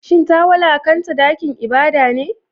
Shin ta wulakanta dakin ibada ne?